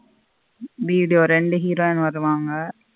Video ரெண்டு heroine வருவாங்க.